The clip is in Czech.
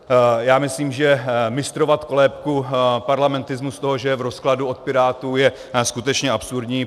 Já myslím, že mistrovat kolébku parlamentarismu z toho, že je v rozkladu, od pirátů, je skutečně absurdní.